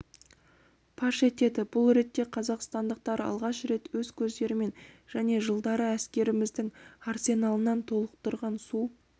паш етеді бұл ретте қазақстандықтар алғаш рет өз көздерімен және жылдары әскеріміздің арсеналын толықтырған су